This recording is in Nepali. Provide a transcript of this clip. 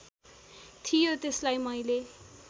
थियो त्यसलाई मैले